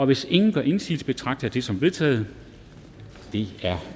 hvis ingen gør indsigelse betragter jeg det som vedtaget det er